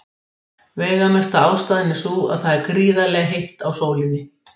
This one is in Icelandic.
Veigamesta ástæðan er sú að það er gríðarlega heitt á sólinni.